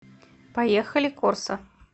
поехали корсо